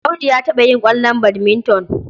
Audu ya taɓa yin ƙwallon badminton.